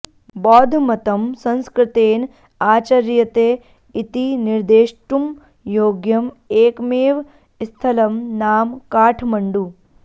बौद्धमतं संस्कृतेन आचर्यते इति निर्देष्टुं योग्यम् एकमेव स्थलं नाम काठ्मण्डु